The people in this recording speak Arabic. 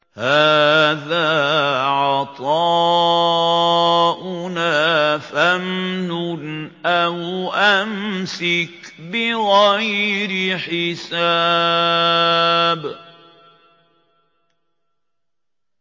هَٰذَا عَطَاؤُنَا فَامْنُنْ أَوْ أَمْسِكْ بِغَيْرِ حِسَابٍ